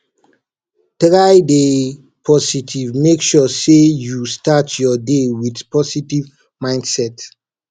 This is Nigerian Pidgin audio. try de positive make sure say you start your day with positive mindset